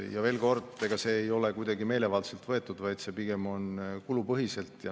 Ja veel kord: ega see ei ole kuidagi meelevaldselt võetud, vaid pigem on kulupõhiselt.